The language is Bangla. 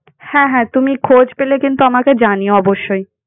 হ্যাঁ, হ্যাঁ, তুমি খোঁজ পেলে কিন্তু আমাকে জানিও অবশ্যই।